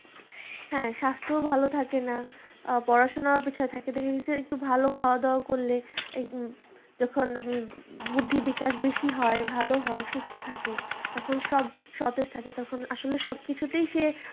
হ্যাঁ স্বাস্থ্যও ভালো থাকে না আ পড়াশোনা পেছনে থাকতে থাকতে সে একটু ভালো খাওয়া দাওয়া করলে যখন বুদ্ধিবিকাশ বেশি হয় ভালো হয় সুস্থ থাকে তখন সব সতেজ থাকে তখন আসলে সবকিছুতেই সে